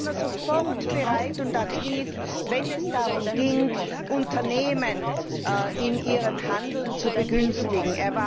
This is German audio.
Er war immer sofort bereit und aktiv, wenn es darum ging, Unternehmen in ihrem Handeln zu begünstigen.